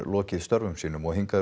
lokið störfum sínum og hingað